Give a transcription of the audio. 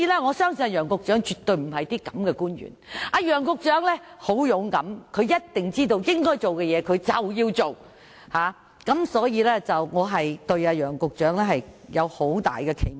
我相信楊局長絕不是這種官員，楊局長很勇敢，他一定知道應做的事便要做，所以我對楊局長有很大期望。